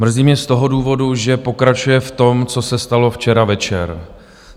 Mrzí mě z toho důvodu, že pokračuje v tom, co se stalo včera večer.